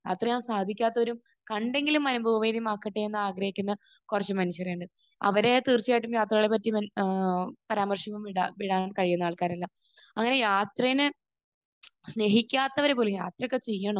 അവർ സാധിക്കാത്തവർ കണ്ടെങ്കിലും അനുഭൂതി ആക്കട്ടെയെന്ന് ആഗ്രഹിക്കുന്ന കുറച്ച് മനുഷ്യരുണ്ട്. അവർ തീർച്ചയായിട്ടും യാത്രകളെ പറ്റി ഏഹ് പരാമർശം ഇടാൻ കഴിയുന്ന ആൾക്കാരല്ല. അങ്ങനെ യാത്രയെ സ്നേഹിക്കാത്തവർ പോലും യാത്രയൊക്കെ ചെയ്യണോ